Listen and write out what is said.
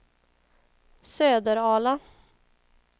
Söderala